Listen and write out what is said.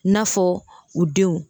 N'a fɔ u denw